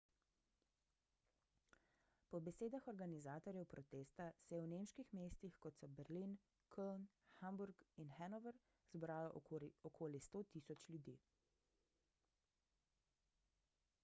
po besedah organizatorjev protesta se je v nemških mestih kot so berlin köln hamburg in hannover zbralo okoli 100.000 ljudi